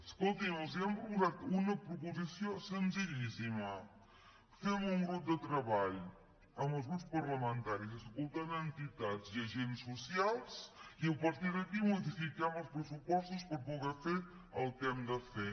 escoltin els hem proposat una proposició senzillíssima fem un grup de treball amb els grups parlamentaris escoltant entitats i agents socials i a partir d’aquí modifiquem els pressupostos per poder fer el que hem de fer